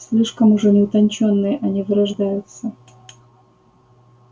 слишком уж они утончённые они вырождаются